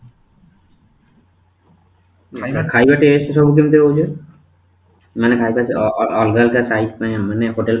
ଖାଇବା ଖାଇବା taste ସବୁ କେମିତି ରହୁଛି ମାନେ ଖାଇବା ଆଃ ଅଲଗା ଅଲଗା size ମାନେ hotel